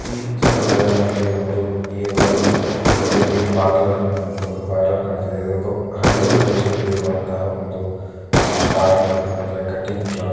ಈ ಚಿತ್ರದಲ್ಲಿ ನಮಗೆ ಒಂದು ಎ.ಒನ್‌.ಎನ್‌.ಜೆ.ಬಿ ಪಾರ್ಲರ್ ಅನ್ನುವಂತಹುದು ಪಾರ್ಲರ್‌ ಕಾಣ್ತಾ ಇದೆ ಇದು ಹಳ್ಳಿ ಪ್ರದೇಶದಲ್ಲಿ ಇರುವಂತಹುದು ಒಂದು ಪಾರ್ಲ್‌ರ್‌ ಅಂದರೆ ಕಟ್ಟಿಂಗ್‌ ಶಾಪ್‌ .